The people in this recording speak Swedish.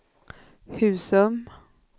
Husum